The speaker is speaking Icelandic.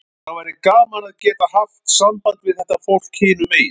Það var gaman að geta haft samband við þetta fólk hinum megin.